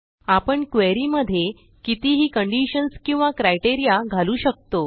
आपणquery मध्ये कितीही कंडिशन्स किंवा क्रायटेरिया घालू शकतो